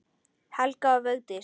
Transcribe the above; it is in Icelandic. Helga og Vigdís.